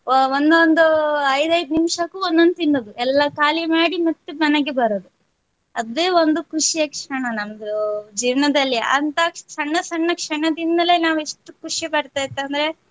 ಅಹ್ ಒಂದೊಂದು ಐದ್ ಐದ್ ನಿಮಿಷಕ್ಕೂ ಒಂದೊಂದು ತಿನ್ನೋದು ಎಲ್ಲಾ ಖಾಲಿ ಮಾಡಿ ಮತ್ತೆ ಮನೆಗೆ ಬರೋದು ಅದೆ ಒಂದು ಖುಷಿಯ ಕ್ಷಣ ನಮ್ದು ಜೀವನದಲ್ಲಿ ಅಂತಾ ಸಣ್ಣ ಸಣ್ಣ ಕ್ಷಣದಿಂದಲೇ ನಾವು ಇಷ್ಟು ಖುಷಿಪಡ್ತಿತ್ ಅಂದ್ರೆ.